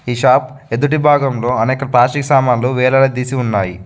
ఈ షాప్ ఎదుటి భాగంలో అనేక ప్లాస్టిక్ సామాన్లు వేలాడదీసి ఉన్నాయి.